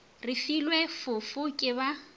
re filwe fofo ke ba